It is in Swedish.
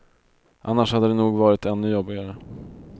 Annars hade det nog varit ännu jobbigare.